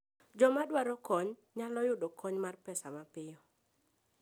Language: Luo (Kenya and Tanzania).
Joma dwaro kony nyalo yudo kony mar pesa mapiyo.